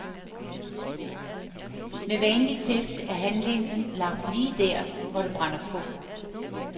Med vanlig tæft er handlingen lagt lige der, hvor det brænder på.